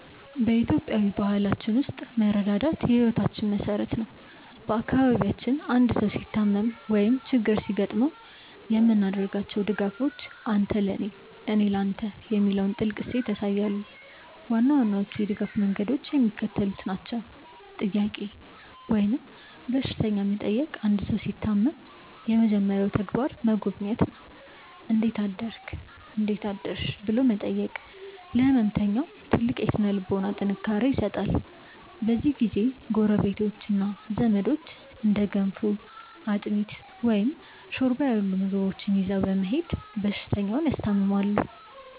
በኢትዮጵያዊ ባህላችን ውስጥ መረዳዳት የሕይወታችን መሠረት ነው። በአካባቢያችን አንድ ሰው ሲታመም ወይም ችግር ሲገጥመው የምናደርጋቸው ድጋፎች "አንተ ለኔ፣ እኔ ለተ" የሚለውን ጥልቅ እሴት ያሳያሉ። ዋና ዋናዎቹ የድጋፍ መንገዶች የሚከተሉት ናቸው፦ "ጥያቄ" ወይም በሽተኛ መጠየቅ አንድ ሰው ሲታመም የመጀመሪያው ተግባር መጎብኘት ነው። "እንዴት አደርክ/ሽ?" ብሎ መጠየቅ ለሕመምተኛው ትልቅ የሥነ-ልቦና ጥንካሬ ይሰጣል። በዚህ ጊዜ ጎረቤቶችና ዘመዶች እንደ ገንፎ፣ አጥሚት፣ ወይም ሾርባ ያሉ ምግቦችን ይዘው በመሄድ በሽተኛውን ያስታምማሉ።